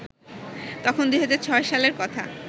তখন ২০০৬ সালের কথা